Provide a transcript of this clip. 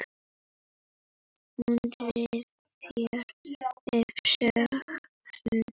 Hún rifjar upp söguna.